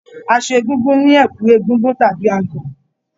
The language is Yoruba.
Aṣọ Egúngún ni ẹ̀kú egúngún tàbí agọ̀.